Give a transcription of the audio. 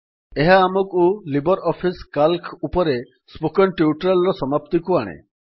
ଏହା ଆମକୁ LibreOffice C A L C ଉପରେ ସ୍ପୋକେନ୍ ଟ୍ୟୁଟୋରିଆଲ୍ ର ସମାପ୍ତିକୁ ଆଣେ